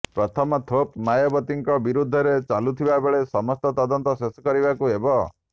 ପ୍ରଥମ ଥୋପ ମାୟାବତୀଙ୍କ ବିରୋଧରେ ଚାଲୁରହିଥିବା ସମସ୍ତ ତଦନ୍ତ ଶେଷ କରିବାକୁ ହେବ